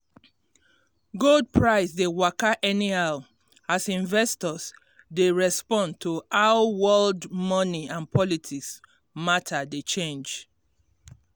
gold price dey waka anyhow as investors dey respond to how world moni and politics matter dey change